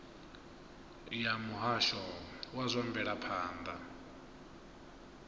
ya muhasho wa zwa mvelaphanda